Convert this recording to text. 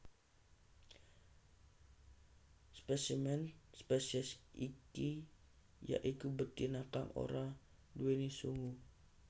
Spesimen spesies iki ya iku betina kang ora nduwèni sungu